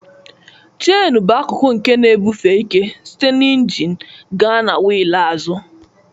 Cheni bụ akụkụ nke na-ebufe ike site na injin gaa na wheel azụ.